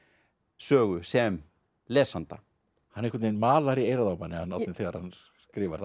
sögu sem lesanda hann einhvern veginn malar í eyrað á manni hann Árni þegar hann skrifar það